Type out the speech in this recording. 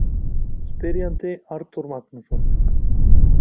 Spyrjandi: Arnþór Magnússon